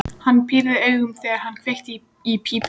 Hann pírði augun, þegar hann kveikti í pípunni.